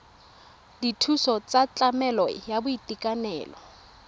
dithuso tsa tlamelo ya boitekanelo